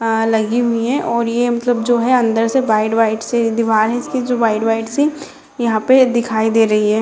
लगी हुई है और ये मतलब जो है अंदर से व्हाइट व्हाइट से दीवाल है जैसे व्हाइट व्हाइट सी यहाँ पर दिखाई दे रही है।